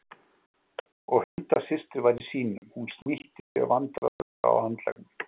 Og Hulda systir var í sínum. Hún snýtti sér vandræðalega á handleggnum.